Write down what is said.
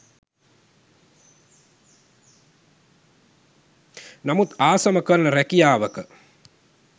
නමුත් ආසම කරන රැකියාවක